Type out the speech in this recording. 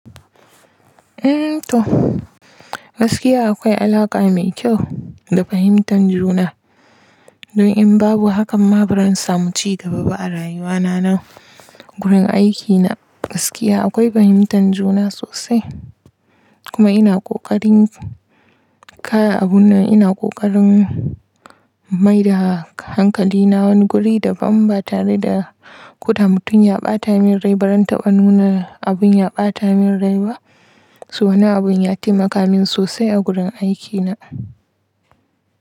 Eh to, gaskiya akwai alaƙa mai kyau da fahimtar juna. Don in babu hakan ma, ba zan samu ci gaba ba a rayuwa na na gurin aikina. Gaskiya akwai fahimtar juna sosai. Kuma ina ƙoƙarin kaya abun nan, ina ƙoƙarin mai da hankali na wani guri daban ba tare da kuta mutum ya ɓata min rai ba. Zan taba nuna abun ya ɓata min rai ba. So na abun ya taimaka min sosai a gurin aikina.